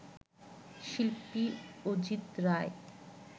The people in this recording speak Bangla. শিল্পী অজিত রায়